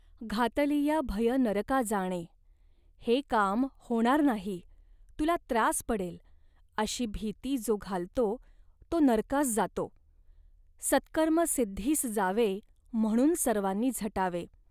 घातलीया भय नरका जाणे' हे काम होणार नाही, तुला त्रास पडेल, अशी भीती जो घालतो, तो नरकास जातो. सत्कर्म सिद्धीस जावे म्हणून सर्वांनी झटावे